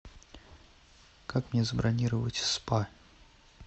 как мне забронировать спа